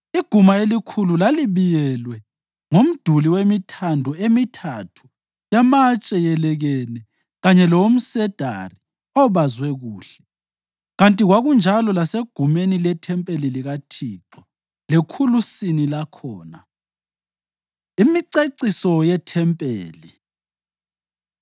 Iguma elikhulu lalibiyelwe ngomduli wemithando emithathu yamatshe yelekene kanye lalowomsedari obazwe kuhle, kanti kwakunjalo lasegumeni lethempeli likaThixo lekhulusini lakhona. Imiceciso YeThempeli